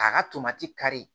K'a ka tomati kari